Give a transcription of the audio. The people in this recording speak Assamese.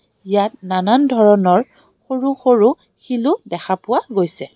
ইয়াত নানান ধৰণৰ সৰু সৰু শিল ও দেখা পোৱা গৈছে.